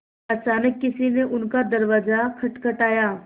अचानक किसी ने उनका दरवाज़ा खटखटाया